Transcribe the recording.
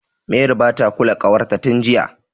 Mary bata kula ƙawarta tin jiya.